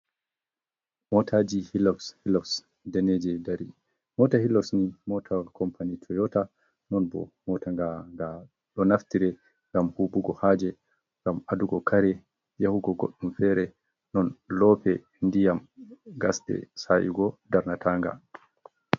Mota ji hilux hilux deneje dari, mota hilux ni motawal company toyota non bo motaga ga do naftire gam hubugo haje gam adugo kare yahugo goddun fere non lope, diyam, gasde, sa’igo darnata nga.